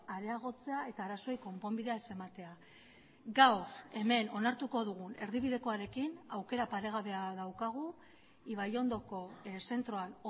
areagotzea eta arazoei konponbidea ez ematea gaur hemen onartuko dugun erdibidekoarekin aukera paregabea daukagu ibaiondoko zentroan